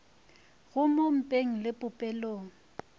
go mo mpeng le popelong